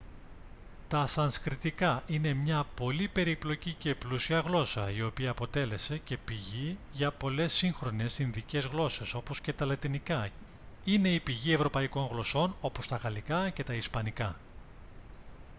τα σανσκριτικά είναι μια πολύ περίπλοκη και πλούσια γλώσσα η οποία αποτέλεσε και πηγή για πολλές σύγχρονες ινδικές γλώσσες όπως και τα λατινικά είναι η πηγή ευρωπαϊκών γλωσσών όπως τα γαλλικά και τα ισπανικά